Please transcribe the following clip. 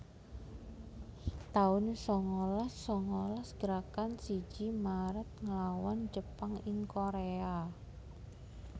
taun sangalas sangalas Gerakan siji Maret nglawan Jepang ing Korea